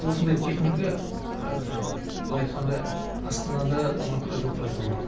осындай техника енді былай айтқанда астанада алматыда жоқ деп айтуға болады